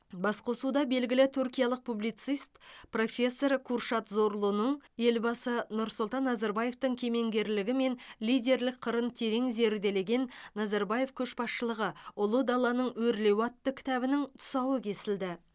басқосуда белгілі түркиялық публицист профессор куршад зорлуның елбасы нұрсұлтан назарбаевтың кемеңгерлігі мен лидерлік қырын терең зерделеген назарбаев көшбасшылығы ұлы даланың өрлеуі атты кітабының тұсауы кесілді